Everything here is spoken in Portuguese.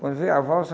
Quando veio a valsa...